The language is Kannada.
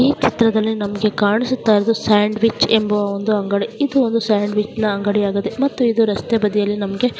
ಈ ಚಿತ್ರದಲ್ಲಿ ನಮಗೆ ಕಾಣಿಸುತ್ತ ಇರುವುದು ಸ್ಯಾಂಡ್ವಿಚ್ ಎಂಬ ಒಂದು ಅಂಗಡಿ ಇದು ಒಂದು ಸ್ಯಾಂಡ್ವಿಚ್ ನ ಅಂಗಡಿಯಾಗಿದೆ ಮತ್ತು ಇದು ರಸ್ತೆ ಬದಿಯಲ್ಲಿ ನಮಗೆ--